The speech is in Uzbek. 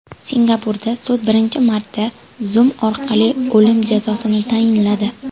Singapurda sud birinchi marta Zoom orqali o‘lim jazosini tayinladi.